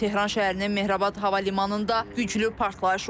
Tehran şəhərinin Mehrabad hava limanında güclü partlayış olub.